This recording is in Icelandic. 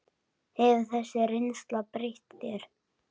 Hefur þessi reynsla breytt þér?